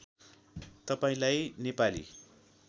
तपाईँलाई नेपाली